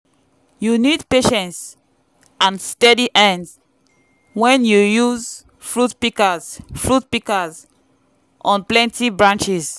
you nid patience and steady hands wen you use fruit pikas fruit pikas on plenty branches